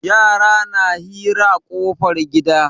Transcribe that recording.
Yara na hira a ƙofar gida.